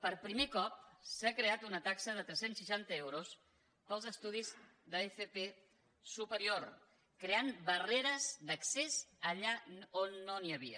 per primer cop s’ha creat una taxa de tres cents i seixanta euros per als estudis d’fp superior i s’han creat barreres d’accés allà on no n’hi havia